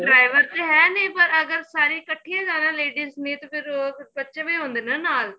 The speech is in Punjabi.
driver ਤੇ ਹੈਂ ਨੀਂ ਪਰ ਅਗਰ ਸਾਰਿਆਂ ਕਠੀਆਂ ਜਿਆਦਾ ladies ਨੇ ਤੇ ਫੇਰ ਬੱਚੇ ਵੀ ਹੁੰਦੇ ਨੇ ਨਾਲ